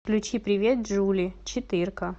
включи привет джули четырка